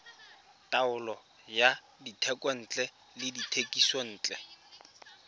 taolo ya dithekontle le dithekisontle